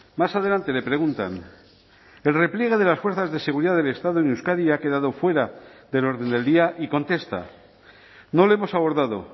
más adelante le preguntan el repliegue de las fuerzas de seguridad del estado en euskadi ha quedado fuera del orden del día y contesta no lo hemos abordado